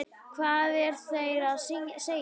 Hvað eru þeir að segja?